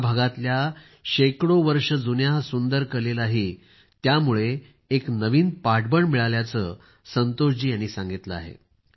या भागातील शेकडो वर्ष जुन्या सुंदर कलेलाही यामुळे एक नवीन पाठबळ मिळाल्याचे संतोष जी यांनी सांगितले आहे